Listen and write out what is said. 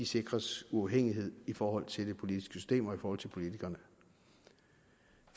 sikres uafhængighed i forhold til det politiske system og i forhold til politikerne